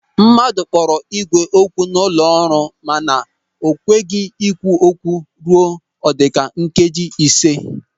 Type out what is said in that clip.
Mmadụ kpọrọ ígwè okwu nọ n'ụlọ ọrụ mana o kweghị ekwu okwu ruo ọdika nkeji ịse.